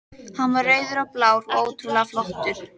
Hann var rauður og blár og ótrúlega flottur.